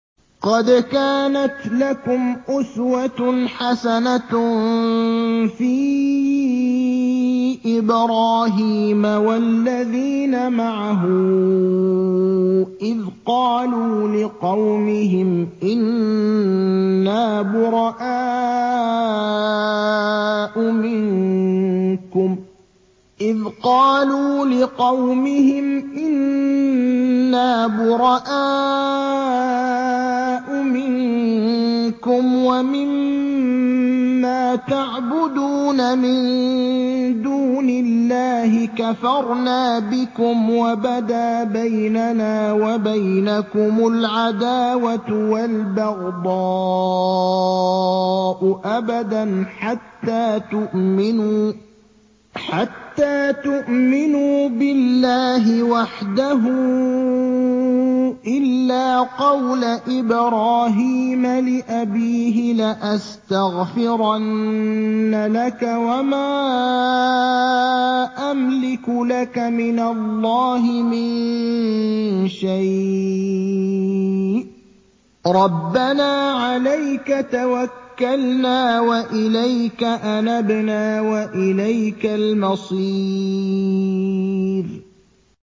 قَدْ كَانَتْ لَكُمْ أُسْوَةٌ حَسَنَةٌ فِي إِبْرَاهِيمَ وَالَّذِينَ مَعَهُ إِذْ قَالُوا لِقَوْمِهِمْ إِنَّا بُرَآءُ مِنكُمْ وَمِمَّا تَعْبُدُونَ مِن دُونِ اللَّهِ كَفَرْنَا بِكُمْ وَبَدَا بَيْنَنَا وَبَيْنَكُمُ الْعَدَاوَةُ وَالْبَغْضَاءُ أَبَدًا حَتَّىٰ تُؤْمِنُوا بِاللَّهِ وَحْدَهُ إِلَّا قَوْلَ إِبْرَاهِيمَ لِأَبِيهِ لَأَسْتَغْفِرَنَّ لَكَ وَمَا أَمْلِكُ لَكَ مِنَ اللَّهِ مِن شَيْءٍ ۖ رَّبَّنَا عَلَيْكَ تَوَكَّلْنَا وَإِلَيْكَ أَنَبْنَا وَإِلَيْكَ الْمَصِيرُ